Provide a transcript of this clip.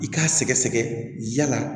I k'a sɛgɛsɛgɛ yala